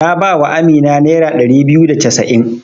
Na ba wa Amina nera ɗari biyu da casa'in.